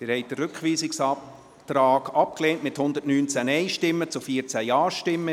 Sie haben den Rückweisungsantrag abgelehnt, mit 119 Nein- zu 14 Ja-Stimmen.